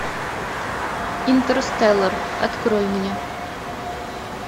интерстеллар открой мне